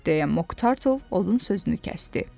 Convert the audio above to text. Deyə Moktarl odun sözünü kəsdi.